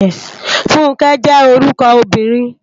Funke jè órúkò óbìrín